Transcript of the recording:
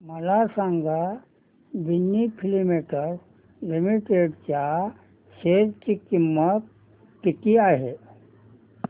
मला सांगा Ginni filaments limited च्या शेअर ची किंमत किती आहे